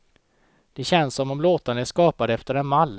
Det känns som om låtarna är skapade efter en mall.